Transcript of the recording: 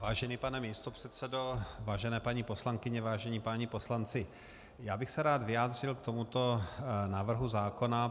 Vážený pane místopředsedo, vážené paní poslankyně, vážení páni poslanci, já bych se rád vyjádřil k tomuto návrhu zákona.